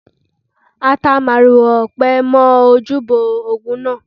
A ta màrìwò ọ̀pẹ mọ́ ojúbọ Ògún náà.